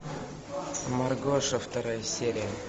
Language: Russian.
маргоша вторая серия